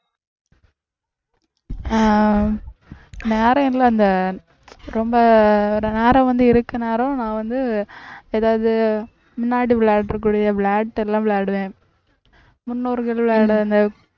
அஹ் நேரம் ரொம்ப நேரம் வந்து இருக்க நேரம் நான் வந்து ஏதாவது முன்னாடி விளையாடக்கூடிய விளையாட்டு எல்லாம் விளையாடுவேன் முன்னோர்கள் அந்த